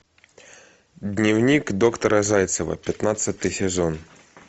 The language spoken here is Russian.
дневник доктора зайцева пятнадцатый сезон